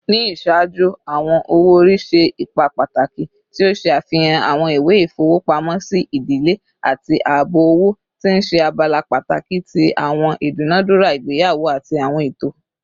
Ni iṣaaju, awọn owo-ori ṣe ipa pataki, ti o ṣe afihan awọn iwe ifowopamosi idile ati aabo owo, ti n ṣe abala pataki ti awọn idunadura igbeyawo ati awọn eto.